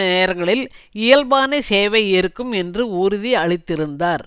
நேரங்களில் இயல்பான சேவை இருக்கும் என்று உறுதியளித்திருந்தார்